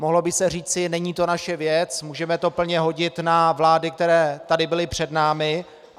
Mohlo by se říci - není to naše věc, můžeme to plně hodit na vlády, které tady byly před námi.